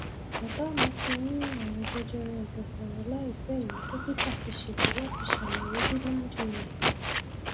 bàbá mi ti ní àrùnjẹjẹrẹ ẹdọfóró láìpẹ yìí dókítà ti ṣètò láti ṣàyẹwò gíláǹdì rẹ